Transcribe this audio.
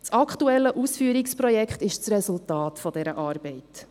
Das aktuelle Ausführungsprojekt ist das Resultat dieser Arbeit.